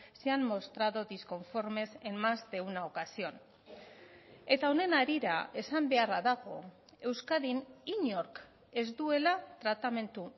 se han mostrado disconformes en más de una ocasión eta honen harira esan beharra dago euskadin inork ez duela tratamendu